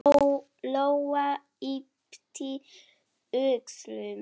Lóa yppti öxlum.